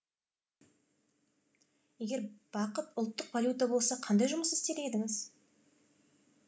егер бақыт ұлттық валюта болса қандай жұмыс істер едіңіз